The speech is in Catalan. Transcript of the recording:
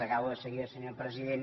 acabo de seguida senyor pre sident